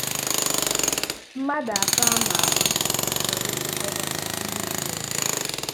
Mmadụ atọ ama ama chọrọ ịbụ gọvanọ Enugu na Ebonyi.